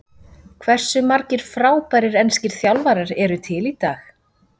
Hversu margir frábærir enskir þjálfarar eru til í dag?